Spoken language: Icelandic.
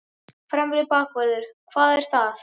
Fremri bakvörður, hvað er það?